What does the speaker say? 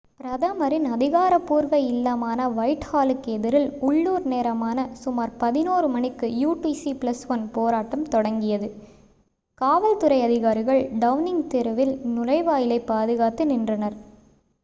பிரதமரின் அதிகாரபூர்வ இல்லமான வைட் ஹாலுக்கு எதிரில் உள்ளூர் நேரமான சுமார் 11:00 மணிக்கு utc+1 போராட்டம் தொடங்கியது. காவல்துறை அதிகாரிகள் டவுனிங் தெருவின் நுழைவாயிலை பாதுகாத்து நின்றனர்